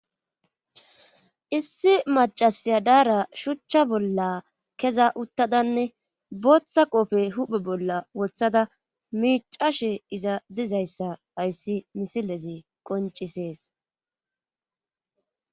issi macasiya daara shuchcha bolla keza uttadanne booththa qofe huphe bolla wothada miicashe iza dizayssa hayssi misileze qoncisees